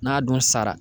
N'a dun sara